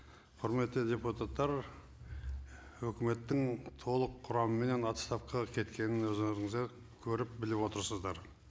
құрметті депутаттар үкіметтің толық құрамменен отставкаға кеткенін өздеріңіздер көріп біліп отырсыздар